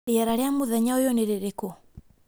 rĩera rĩa mũthenya ũyũ nĩ rĩrĩkũ